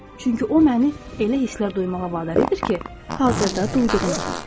Çünki o məni elə hisslər duymağa vadar edir ki, hazırda duyduğum kimi.